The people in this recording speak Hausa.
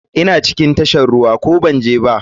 Ina cikin tashar ruwa ko banje ba?